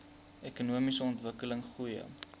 ekonomiese ontwikkeling goeie